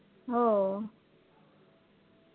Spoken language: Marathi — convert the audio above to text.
हो